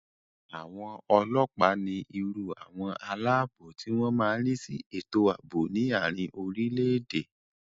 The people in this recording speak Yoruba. Àwọn ọlọ́ọ̀pá ní irú àwọn aláàbò tí wọ́n má n rí sí ètò àbò ní àrin orile-èdè